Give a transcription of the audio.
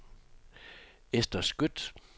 Ester Skøtt